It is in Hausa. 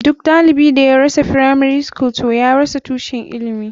Duk ɗalibin da ya rasa firamari skul toh ya rasa tushen ilimi.